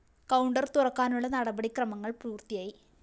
counter തുറക്കാനുള്ള നടപടി ക്രമങ്ങള്‍ പൂര്‍ത്തിയായി